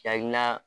Hakilina